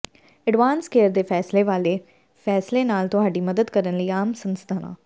advance care ਦੇ ਫੈਸਲੇ ਵਾਲੇ ਫ਼ੈਸਲੇ ਨਾਲ ਤੁਹਾਡੀ ਮਦਦ ਕਰਨ ਲਈ ਆਮ ਸੰਸਾਧਨਾਂ